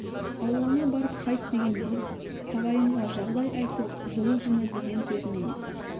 ауылыңа барып қайт дегенде ағайынға жағдай айтып жылу жина деген сөзім емес